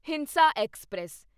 ਹਿੰਸਾ ਐਕਸਪ੍ਰੈਸ